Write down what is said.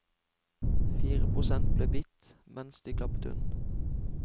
Fire prosent ble bitt mens de klappet hunden.